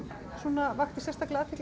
vakti sérstaka athygli